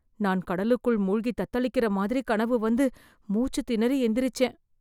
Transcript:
நான் கடலுக்குள் மூழ்கி தத்தளிக்கற மாதிரி கனவு வந்து, மூச்சு திணறி எந்திரிச்சேன்.